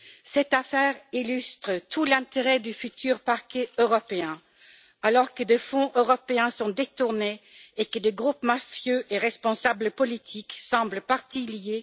Cette affaire illustre tout l'intérêt du futur Parquet européen alors que des fonds européens sont détournés et que des groupes mafieux et des responsables politiques semblent parties liées.